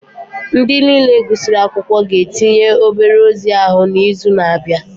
Ndị niile gụsịrị akwụkwọ ga-etinye obere ozi ahụ n'izu na-abịa